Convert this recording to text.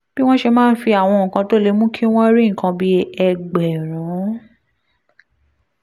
bí wọ́n ṣe máa fi àwọn nǹkan tó lè mú kí wọ́n rí nǹkan bí ẹgbẹ̀rún